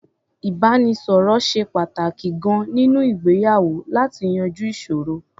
Ìbánisọ̀rọ̀ ṣe pàtàkì gan-an nínú ìgbéyàwó láti yanjú ìṣòro.